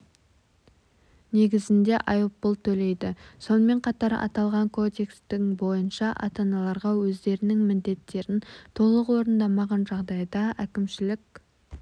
негізінде айыппұл төлейді сонымен қатар аталған кодекстің бойынша ата-аналарға өздерінің міндеттерін толық орындамаған жағдайда әкімшілік